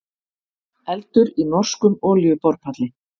Eldur í norskum olíuborpalli